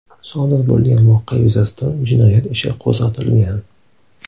Sodir bo‘lgan voqea yuzasidan jinoyat ishi qo‘zg‘atilgan.